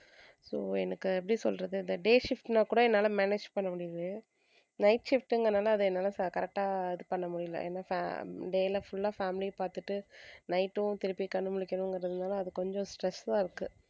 so எனக்கு எப்படி சொல்லுறது day shift னாக் கூட என்னால manage பண்ண முடியுது night shift ங்கிறதுனால அதை என்னால correct ஆ இது பண்ண முடியல. ஏன்னா fa~ day ல full ஆ family அ பாத்துட்டு night உம் திருப்பி கண்ணு முழிக்கிறதுங்கிறதுனால அது கொஞ்சம் stressful அ இருக்கு.